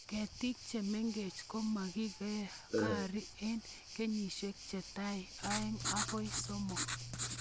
Ketik che mengch' ko makikari eng kenyishek che tai aeng' akoi somok